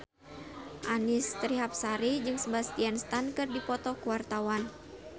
Annisa Trihapsari jeung Sebastian Stan keur dipoto ku wartawan